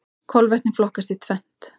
Kolvetni flokkast í tvennt.